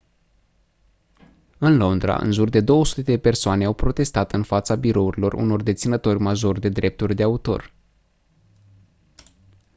în londra în jur de 200 de persoane au protestat în fața birourilor unor deținători majori de drepturi de autor